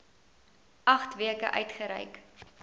agt weke uitgereik